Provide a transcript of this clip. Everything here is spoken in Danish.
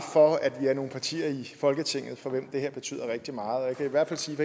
for at vi er nogle partier i folketinget for hvem det her betyder rigtig meget jeg kan hvert fald sige at